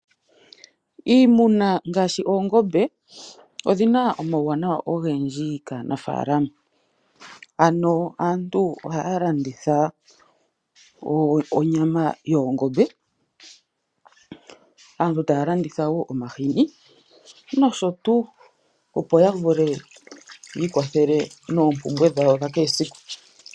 Iimuna ngaashi oongombe odhina omauwanawa ogendji kaanafaalama ano aantu ohaya landitha onyama yoongombe, aantu taya landitha wo omahini nosho tuu opo ya vule yi ikwathele noompumbwe dhawo dha kehe siku.